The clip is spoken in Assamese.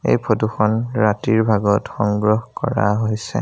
এই ফটো খন ৰাতিৰ ভাগত সংগ্ৰহ কৰা হৈছে।